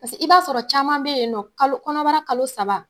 Pase i b'a sɔrɔ caman be yen nɔ kalo kɔnɔbara kalo saba